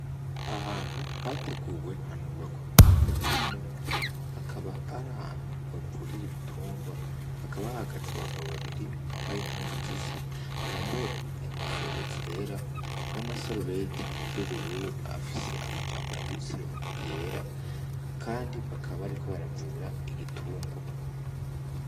Ahantu hateguwe hanubakwa mu buhinga bwa none, hakab'ar'ahantu bavurira ibintungwa hakaba hahagaze abagabo babiri bambaye impuzu zisa, bambaye inkofero zera n'amasarubeti y'ubururu afise amajambo yanditse yera kandi bakaba bariko baravura igitungwa.